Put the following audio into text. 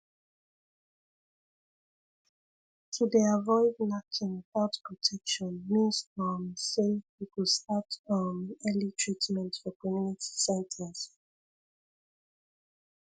to dey avoid knacking without protection means um say you go start um early treatment for community centres